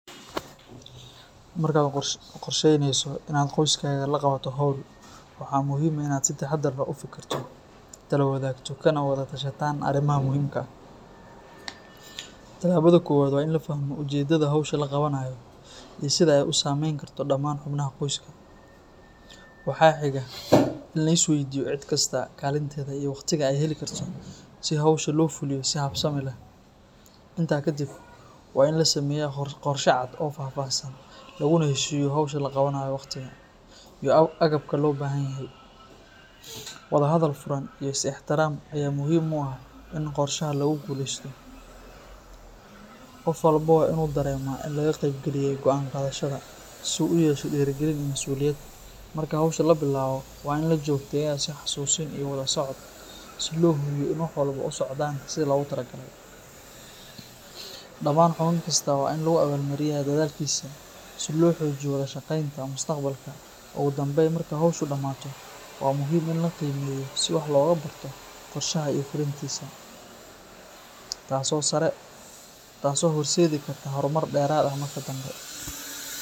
Marka aad qorsheynayso in aad qoyskaga la qabato hawl, waxaa muhiim ah in aad si taxadar leh u fikirto, talo wadaagto, kana wada tashataan arrimaha muhiimka ah. Tallaabada koowaad waa in la fahmo ujeeddada hawsha la qabanayo iyo sida ay u saamayn karto dhammaan xubnaha qoyska. Waxaa xiga in la is weydiiyo cid kasta kaalinteeda iyo waqtiga ay heli karto si hawsha loo fuliyo si habsami leh. Intaa kadib, waa in la sameeyaa qorshe cad oo faahfaahsan, laguna heshiiyo hawsha la qabanayo, wakhtiga, iyo agabka loo baahan yahay. Wadahadal furan iyo is ixtiraam ayaa muhiim u ah in qorshaha lagu guuleysto. Qof walba waa in uu dareemaa in laga qaybgeliyay go’aan qaadashada, si uu u yeesho dhiirigelin iyo masuuliyad. Marka hawsha la bilaabo, waa in la joogteeyaa is xasuusin iyo wada socod si loo hubiyo in wax walba u socdaan sida loogu talagalay. Dhammaan xubin kasta waa in lagu abaalmariyaa dadaalkiisa si loo xoojiyo wada shaqeynta mustaqbalka. Ugu dambayn, marka hawshu dhamaato, waa muhiim in la is qiimeeyo si wax looga barto qorshaha iyo fulintiisa, taas oo horseedi karta horumar dheeraad ah mararka dambe.